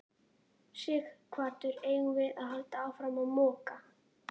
Sighvatur: Eigum við að halda áfram að moka?